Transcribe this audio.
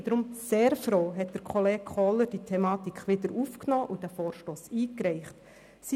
Ich bin deshalb sehr froh, dass Kollege Kohler diese Thematik wieder aufgenommen und diesen Vorstoss eingereicht hat.